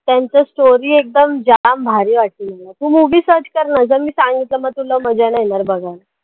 त्यांच story एकदम जाम भारी वाटली मला, तू movie search करना जर मी सांगितलं तर मग तुला मजा नाही येणार बघायला.